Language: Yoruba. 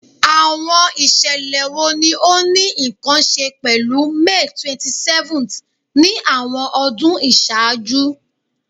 Awọn iṣẹlẹ wo ni o ni nkan ṣe pẹlu May 27th ni awọn ọdun iṣaaju?